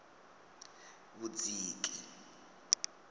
vhudziki